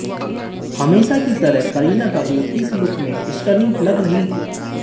हमेशा की तरह करीना कपूर इस लुक में स्टनिंग लग रहीं थी